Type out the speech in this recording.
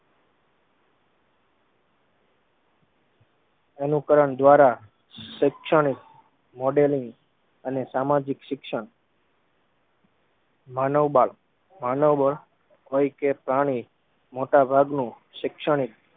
અનુકરણ દ્વારા શેક્ષણિક modelin અને સામાજિક શિક્ષણ માનોબળ મનોબળ હોય કે પ્રાણી મોટા ભાગનું શેકક્ષણિક